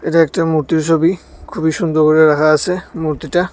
এটা একটা মূর্তির ছবি খুবই সুন্দর কইরা রাখা আছে মূর্তিটা।